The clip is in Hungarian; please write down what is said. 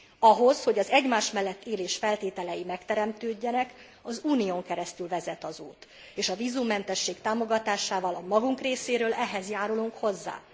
Ahhoz, hogy az egymás mellett élés feltételei megteremtődjenek, az Unión keresztül vezet az út, és a vízummentesség támogatásával a magunk részéről ehhez járulunk hozzá.